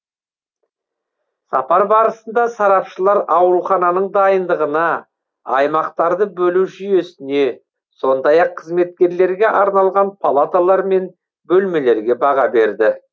сапар барысында сарапшылар аурухананың дайындығына аймақтарды бөлу жүйесіне сондай ақ қызметкерлерге арналған палаталар мен бөлмелерге баға берді